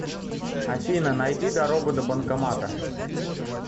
афина найди дорогу до банкомата